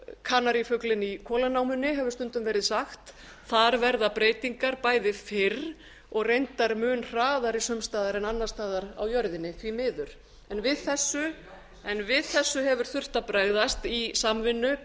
kanarífuglinn í kolanámunni hefur stundum verið sagt þar verð breytingar bæði fyrr og reyndar mun hraðari sums staðar en annars staðar á jörðinni því miður við þessu hefur þurft á bregðast í samvinnu